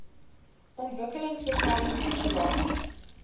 ontwikkelingsbeplanningregulasies